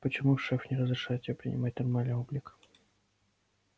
почему шеф не разрешает тебе принимать нормальный облик